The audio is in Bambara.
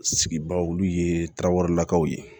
Sigi bagaw olu ye tarawelelakaw ye